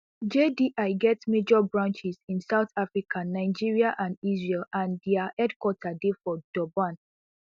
jdi get major branches in south africa nigeria and israel and dia headquarters dey for durban